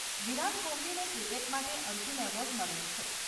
વિરાટ કોહલીને ક્રિકેટ માટે અર્જુન એવોર્ડ મળ્યો છે.